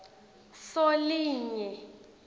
solinye